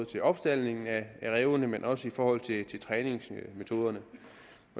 til opstaldning af rævene men også i forhold til træningsmetoderne